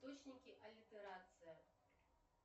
точники алитерация